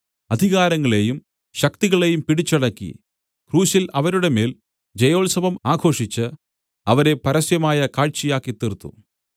അധികാരങ്ങളേയും ശക്തികളേയും പിടിച്ചടക്കി ക്രൂശിൽ അവരുടെ മേൽ ജയോത്സവം ആഘോഷിച്ച് അവരെ പരസ്യമായ കാഴ്ചയാക്കിത്തീർത്തു